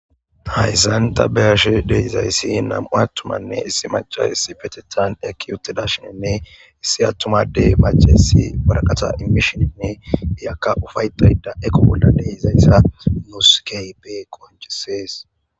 Hayssan ta be'ashshe dizayssi nam'u attumatine issi maccay issippeteththan eqqidayssane issi adey maccayissi warakatta immishshenne iika uuffaettayda eko bolla de'izayssa nusi kehippe konccises.